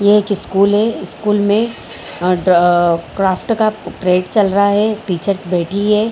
ये एक स्कूल है। स्कूल में अ ड क्राफ्ट का पीरियड्स चल रहा है। टीचर्स बैठी है।